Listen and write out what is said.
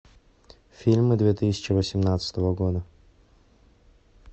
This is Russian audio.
фильмы две тысячи восемнадцатого года